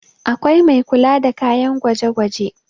akwai Mai kula da kayan gwaje gwaje